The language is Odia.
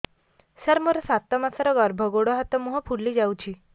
ସାର ମୋର ସାତ ମାସର ଗର୍ଭ ଗୋଡ଼ ହାତ ମୁହଁ ଫୁଲି ଯାଉଛି